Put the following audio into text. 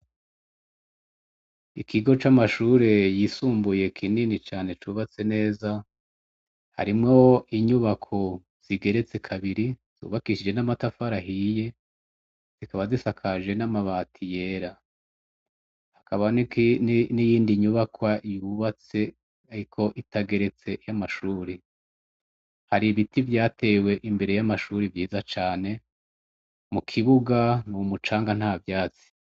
Ikigo camashure yisumbuye kinini cane cubatse neza harimwo inyubako zigeretse kabiri zubakishije namatafari ahiye zikaba zisakaje namabati yera hakaba niyindi nyubakwa yubatse ariko itageretse yamashure hari ibiti vyatewe imbere yamashure vyiza cane mukibuga numucanga ntavyatsi